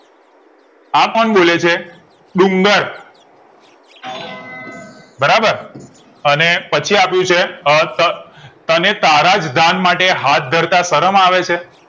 આ કોણ બોલે છે ડુંગર બરાબર અને પછી આપ્યું છે અત તને તારા જ દાન માટે હાથ ધરતા શરમ આવેછે